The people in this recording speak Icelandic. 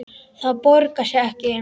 Það borgar sig ekki.